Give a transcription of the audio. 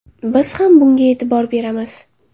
Biz ham bunga e’tibor beramiz.